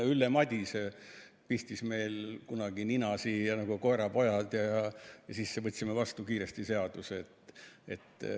Ülle Madise kunagi pistis meil nina nagu koerapoegadel ja siis me võtsime seaduse kiiresti vastu.